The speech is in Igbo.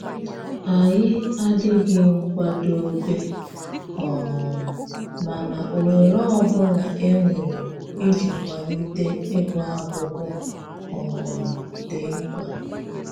Anyi adịghị nkwadobe um mana ohere ọbụla e nwere ịji kwalite ịgụ akwụkwọ um dị mkpa